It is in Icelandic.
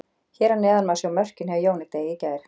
Hér að neðan má sjá mörkin hjá Jóni Degi í gær.